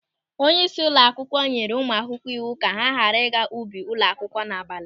Onyeisi ụlọ akwụkwọ nyere ụmụ akwụkwọ iwu ka ha ghara ịga n'ubi ụlọ akwụkwọ n'abalị.